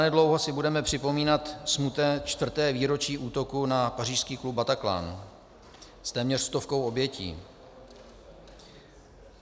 Zanedlouho si budeme připomínat smutné čtvrté výročí útoku na pařížský klub Bataclan s téměř stovkou obětí.